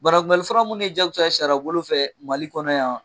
Banakunbɛlifura minnu ye jakusa ye sariyabolo fɛ MALI kɔnɔ yan.